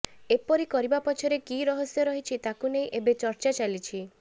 ଏପରି କରିବା ପଛରେ କି ରହସ୍ୟ ରହିଛି ତାକୁ ନେଇ ଏବେ ଚର୍ଚ୍ଚା ଚାଲିଛି